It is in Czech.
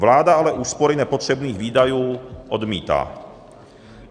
Vláda ale úspory nepotřebných výdajů odmítá.